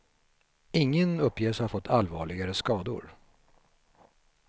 Ingen uppges ha fått allvarligare skador.